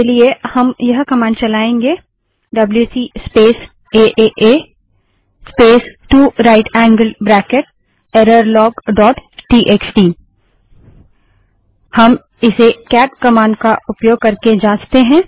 इसके लिए हम यह कमांड चलाएंगे WC space AAA space 2 right angled bracket error log dot TXT WC space AA space 2 right angled bracket twice error log TXT हम इसे केट कमांड का उपयोग करके जाँचते हैं